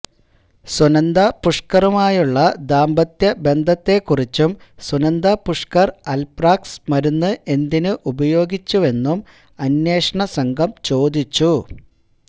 സുന്ദ പുഷ്ക്കറുമായുള്ള ദാമ്പത്ത്യബന്ധത്തെ കുറിച്ചും സുനന്ദ പുഷ്ക്കര് അല്പ്രാക്സ് മരുന്ന് എന്തിന് ഉപയോഗിച്ചുവെന്നും അന്വേഷണം സംഘം ചോദിച്ചു